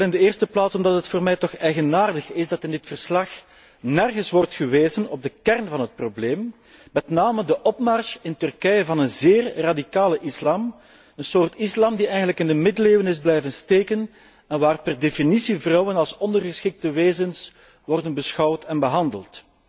Wel in de eerste plaats omdat het voor mij toch eigenaardig is dat in dit verslag nergens wordt gewezen op de kern van het probleem, namelijk de opmars in Turkije van een zeer radicale islam, een soort islam die eigenlijk in de middeleeuwen is blijven steken en waar vrouwen per definitie als ondergeschikte wezens worden beschouwd en behandeld.